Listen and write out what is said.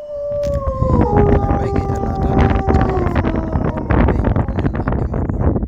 enebaiki elaata e NHIF, nena ooloopeny onena emurua